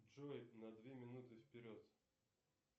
джой на две минуты вперед